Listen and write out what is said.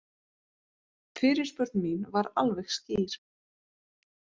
Fyrirspurn mín var alveg skýr